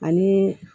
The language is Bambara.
Ani